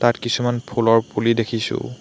তাত কিছুমান ফুলৰ পুলি দেখিছোঁ।